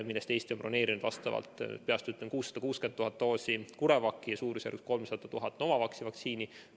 Eesti on broneerinud – peast ütlen – 660 000 doosi CureVaci ja umbes 300 000 doosi Novavaxi vaktsiini.